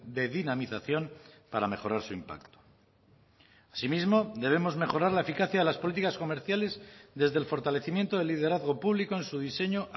de dinamización para mejorar su impacto asimismo debemos mejorar la eficacia de las políticas comerciales desde el fortalecimiento del liderazgo público en su diseño